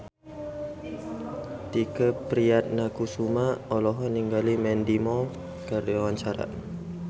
Tike Priatnakusuma olohok ningali Mandy Moore keur diwawancara